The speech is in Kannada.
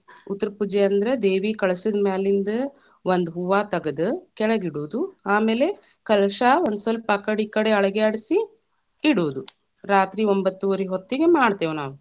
ಉತ್ತರಪೂಜೆ ಅಂದ್ರ ದೇವಿ ಕಳಶದ ಮ್ಯಾಲಿಂದ ಒಂದ ಹೂವಾ ತಗದು, ಕೆಳಗಿಡುದು, ಆಮೇಲೆ ಕಳಶಾ ಒಂದಸ್ವಲ್ಪ ಆಕಡೆ, ಇಕಡೇ ಅಳಗ್ಯಾಡ್ಸಿ ಇಡುದು, ರಾತ್ರಿ ಒಂಭತ್ತುವರಿ ಹೋತ್ತಿಗೆ ಮಾಡ್ತೇವ ‌ನಾವ್.